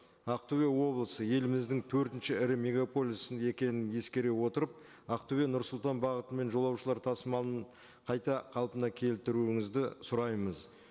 ақтөбе облысы еліміздің төртінші ірі мегаполисі екенін ескере отырып ақтөбе нұрсұлтан бағытымен жолаушылар тасымалын қайта қалпына келтіруіңізді сұраймыз